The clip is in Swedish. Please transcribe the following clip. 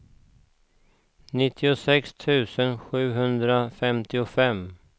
nittiosex tusen sjuhundrafemtiofem